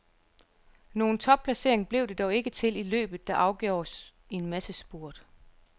Nogen topplacering blev det dog ikke til i løbet, der afgjordes i en massespurt.